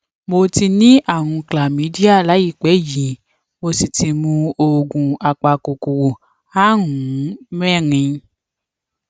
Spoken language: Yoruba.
mo ti ní àrùn chlamydia láìpé yìí mo sì ti mu oògùn apakòkòrò àrùn mẹrin